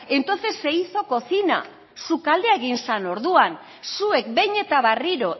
entonces se hizo cocina sukaldea egin zen orduan zuek behin eta berriro